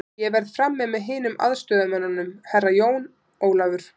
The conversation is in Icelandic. Ég verð frammi með hinum aðstoðarmönnunum, Herra Jón Ólafur.